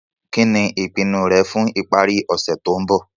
Kí ní ìpinu rẹ fun ìparí ọ̀sẹ̀ to n bo